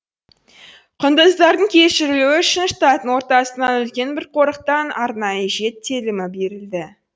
құндыздардың көшірілуі үшін штаттың ортасынан үлкен бір қорықтан арнайы жет телімі берілді